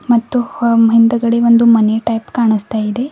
ಮತ್ತು ಹಮ್ ಹಿಂದ್ಗಡೆ ಒಂದು ಮನೆ ಟೈಪ್ ಕಾಣಸ್ತ ಇದೆ.